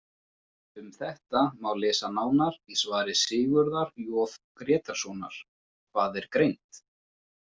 Um þetta má lesa nánar í svari Sigurðar J Grétarssonar, Hvað er greind?